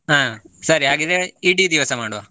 ಹ, ಸರಿ ಹಾಗಿದ್ರೆ ಇಡೀ ದಿವಸ ಮಾಡುವ.